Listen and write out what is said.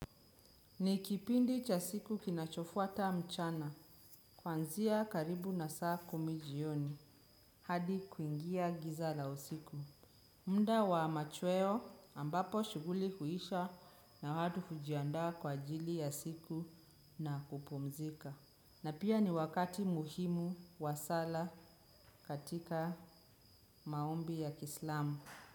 Nikipindi cha siku kinachofuata mchana, kwanzia karibu na saa kumi jioni, hadi kuingia giza la usiku. Muda wa machweo ambapo shuguli huisha na watu hujiandaa kwa ajili ya siku na kupumzika. Na pia ni wakati muhimu wa sala katika maombi ya kislamu.